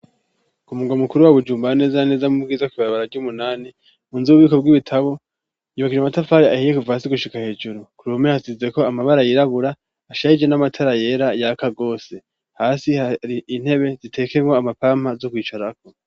Ku mungwa mukuru wa Bujumba neza neza mu Bwiza kw'ibarabara ry'umunani, mu nzu y'ububiko bw'ibitabo yubakishije amatafari ahiye kuva hasi gushika hejuru. Ku mpome hasizeko amabara yirabura ashariije n'amatara yera yaka rwose. Hasi hari intebe zitekeyemwo amapampa, zo kwicarako.